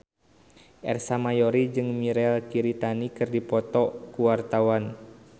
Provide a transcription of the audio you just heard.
Ersa Mayori jeung Mirei Kiritani keur dipoto ku wartawan